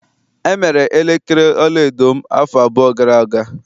E mere elekere ọlaedo m afọ abụọ gara aga.